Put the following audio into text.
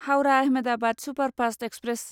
Howrah Ahmedabad superfast express